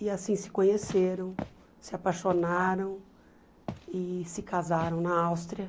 E assim se conheceram, se apaixonaram e se casaram na Áustria.